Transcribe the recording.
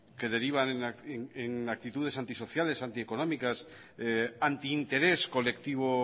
que derivan en actitudes antisociales antieconómicas antinterés colectivo